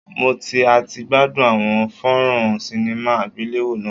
Mo ti a ti gbadun awọn fonron cinema agbelewo naa